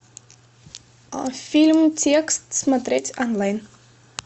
фильм текст смотреть онлайн